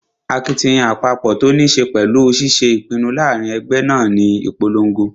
Akitiyan àpapọ̀ tó ní ṣe pẹ̀lú ṣiṣé ìpinnu láàrin ẹgbẹ́ náà ní ìponlogo